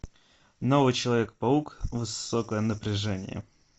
новый человек паук высокое напряжение